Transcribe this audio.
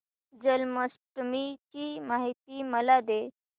जन्माष्टमी ची माहिती मला दे